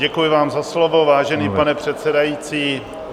Děkuji vám za slovo, vážený pane předsedající.